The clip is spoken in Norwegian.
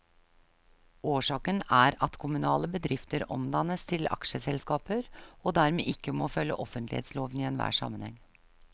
Årsaken er at kommunale bedrifter omdannes til aksjeselskaper, og dermed ikke må følge offentlighetsloven i enhver sammenheng.